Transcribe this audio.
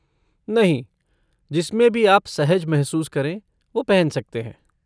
नहीं, जिसमें भी आप सहज महसूस करें वो पहन सकते हैं।